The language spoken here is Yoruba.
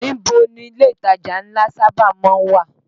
Níbo ni ilé ìtajà ńlá sábà má ń wà?